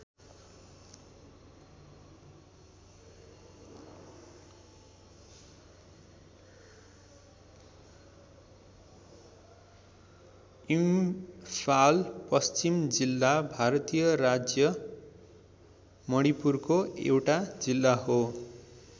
इम्फाल पश्चिम जिल्ला भारतीय राज्य मणिपुरको एउटा जिल्ला हो।